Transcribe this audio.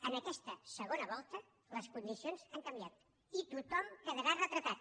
en aquesta segona volta les condicions han canviat i tothom quedarà retratat